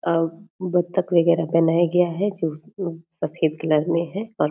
अम बत्तख वगेरह बनाया गया है जो स अम सफेद कलर में है और --